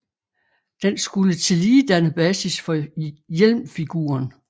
Den skulle tillige danne basis for hjelmfiguren